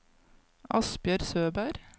Asbjørg Søberg